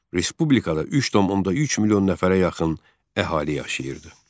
Respublikada 3,3 milyon nəfərə yaxın əhali yaşayırdı.